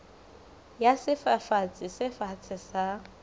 ya sefafatsi se fatshe sa